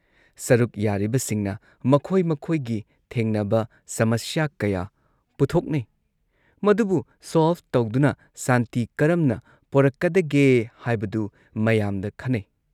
ꯁꯔꯨꯛ ꯌꯥꯔꯤꯕꯁꯤꯡꯅ ꯃꯈꯣꯏ ꯃꯈꯣꯏꯒꯤ ꯊꯦꯡꯅꯕ ꯁꯃꯁ꯭ꯌ ꯀꯌꯥ ꯄꯨꯊꯣꯛꯅꯩ, ꯃꯗꯨꯕꯨ ꯁꯣꯜꯚ ꯇꯧꯗꯨꯅ ꯁꯥꯟꯇꯤ ꯀꯔꯝꯅ ꯄꯣꯔꯛꯀꯗꯒꯦ ꯍꯥꯏꯕꯗꯨ ꯃꯌꯥꯝꯗ ꯈꯟꯅꯩ꯫